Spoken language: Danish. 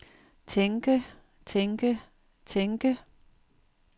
tænke tænke tænke